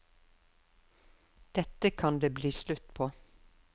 Dette kan det bli slutt på.